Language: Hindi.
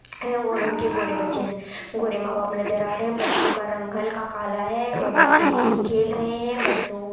है और उनके गोरे बच्चे गोरे मां बाप नज़र आ रहे है बच्चे का रंग हल्का काला है और बच्चे खेल रहे है बच्चों --